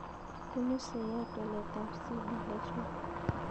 Punu seiat walet ab CDH1